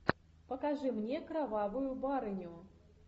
покажи мне кровавую барыню